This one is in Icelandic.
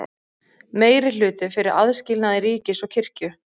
Meirihluti fyrir aðskilnaði ríkis og kirkju